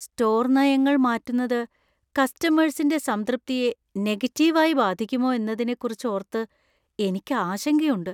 Store നയങ്ങൾ മാറ്റുന്നത് കസ്റ്റമെർസിന്‍റെ സംതൃപ്തിയെ നെഗറ്റീവായി ബാധിക്കുമോ എന്നതിനെക്കുറിച്ച് ഓർത്ത് എനിക്ക് ആശങ്കയുണ്ട്.